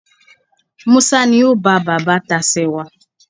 Musa ni o ba baba tacewa